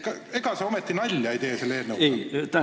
Ega sa ometi selle eelnõuga nalja ei tee?